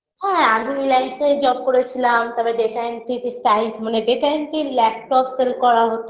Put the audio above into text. হ্যাঁ আমি রিলায়েন্সে job করেছিলাম তারপর data entry -তে type মানে data entry laptop sale করা হতো